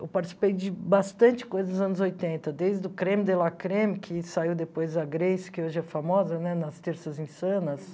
Eu participei de bastante coisa nos anos oitenta, desde o Creme de la Creme, que saiu depois da Grace, que hoje é famosa, né, nas Terças Insanas.